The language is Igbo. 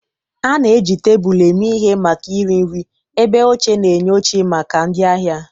A na-eji tebụl eme ihe maka iri nri, ebe oche na-enye oche maka ndị ahịa.